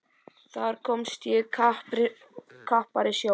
Þar komst ég í krappari sjó.